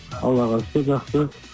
аллаға шүкір жақсы